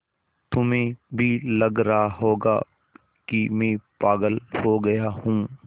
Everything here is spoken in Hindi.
तुम्हें भी लग रहा होगा कि मैं पागल हो गया हूँ